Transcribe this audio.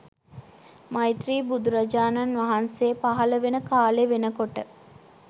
මෛත්‍රී බුදුරජාණන් වහන්සේ පහළ වෙන කාලෙ වෙනකොට